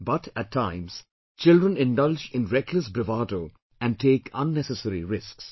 But, at times children indulge in reckless bravado and take unnecessary risks